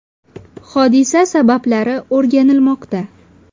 Hodisa sabablari o‘rganilmoqda.